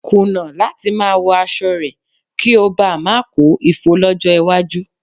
Kùnà láti máa wọ aṣọ rẹ̀ kí o bá ma kó ifo lọ́jọ́ iwájú.